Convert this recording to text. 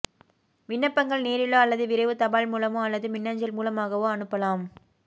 விண்ணப்பங்கள் நேரிலோ அல்லது விரைவு தபால் மூலமோ அல்லது மின்னஞ்சல் மூலமாகவோ அனுப்பலாம்